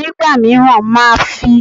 Ní ìgbà mìíràn, màá a fi